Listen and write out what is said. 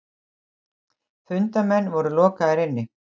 Fundarmenn voru lokaðir inni.